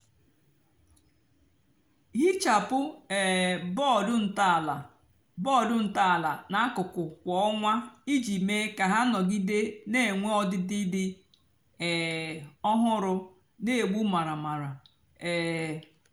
hichapụ um bọdụ ntọala bọdụ ntọala nà àkuku kwá ọnwá íjì mee kà hà nọgide nà-ènwé ọdịdị dị um ọhụrụ nà-ègbu maramara. um